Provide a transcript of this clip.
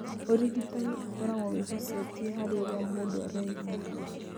Ũrigitani ũkoragwo wĩhocetie harĩ ũrĩa mũndũ araigua.